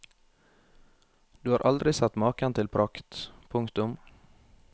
Du har aldri sett maken til prakt. punktum